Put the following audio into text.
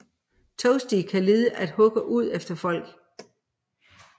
Toasty kan lide at hugge ud efter folk